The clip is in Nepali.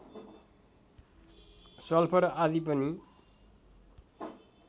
सल्फर आदि पनि